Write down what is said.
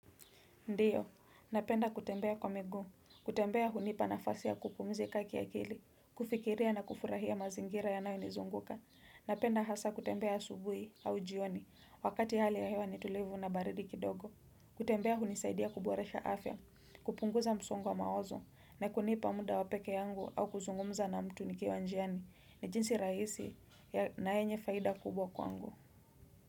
Ndiyo, napenda kutembea kwa miguu, kutembea hunipa na fasi ya kupumzika kiakili, kufikiria na kufurahia mazingira yanayo nizunguka, napenda hasa kutembea asubuhi au jioni, wakati hali ya hewa ni tulivu na baridi kidogo, kutembea hunisaidia kuboresha afya, kupunguza msongo wa mawazo, na kunipa muda wapeke yangu au kuzungumza na mtu nikiwa njiani, ni jinsi rahisi na yenye faida kubwa kwangu.